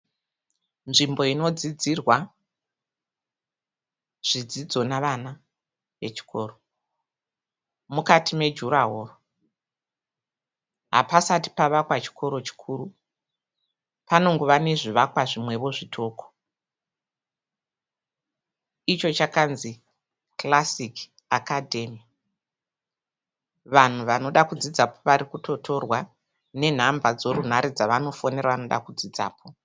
Nzvimbo inodzidzirwa zvidzidzo nevana vechikoro. Mukati mejurawaro. Hapasati pavakwa chikoro chikuru. Panongova nezvivakwa zvimwewo zvitoko. Icho chakanzi Classic Academy. Vanhu vanoda kudzidzapo varikutotorwa nenhamba dzorunhare dzavanofonera vanoda kudzidzapo.